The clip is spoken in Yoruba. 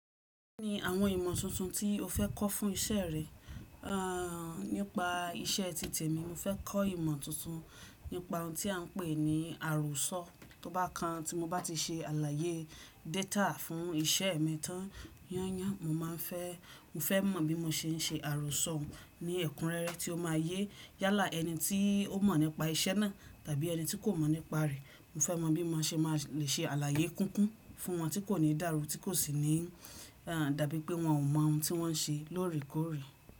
Kí ni àwọn ìmọ̀ tuntun tí o fẹ́ kọ́ fún isẹ́ rẹ? A, nípa isẹ́ titẹ̀ mi, mo fẹ́ kọ́ ìmọ̀ tuntun nípa ohun tí a ń pè ní àròsọ. Tóbá kan tí mo bá ti se àlàyé data fún isẹ́ mi tán yán yán, mo má a fẹ́, mo fẹ́ mọ bí mo ṣe ń se àròsọ ní ẹ̀kúnrẹ́rẹ́ tí ó ma yé yálà ẹni tí ó mọ̀ nípa isẹ́ náà tàbí ẹni tí kò mọ̀ nípa rẹ̀. Mo fẹ́ mọ̀ bí mo ṣe máa le ṣe àlàyé kúkún fún wọn tí kò ní dàrú, tí kò sì ní, a, dàbí pé wọn ò mọ ohun tí wọ́n ń ṣe lóòrèkóòrè.